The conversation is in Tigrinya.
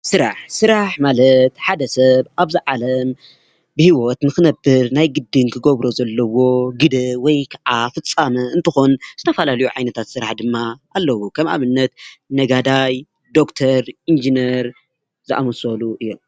ስራሕ: ስራሕ ማለት ሓደ ሰብ ኣብዛ ዓለም ብሂወት ንክነብር ናይ ግድን ክገብሮ ዘለዎ ግደ ወይ ክዓ ፍፃመ እንትኮን ዝተፈላለዩ ዓይነታት ስራሕ ድማ ኣለዉ ከም ኣብነት ነጋዳይ ፣ዶክተር፣ ኢንጂነር ዘኣመሰሉ እዮም፡፡